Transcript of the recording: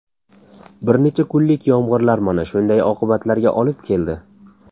Bir necha kunlik yomg‘irlar mana shunday oqibatlarga olib keldi.